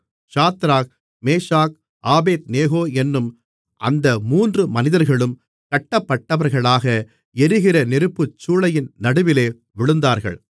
Shadrach Meshach Abednego என்னும் அந்த மூன்று மனிதர்களும் கட்டப்பட்டவர்களாக எரிகிற நெருப்புச்சூளையின் நடுவிலே விழுந்தார்கள்